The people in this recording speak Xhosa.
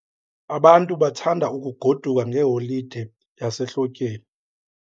Abantu bathanda ukugoduka ngeholide yasehlotyeni.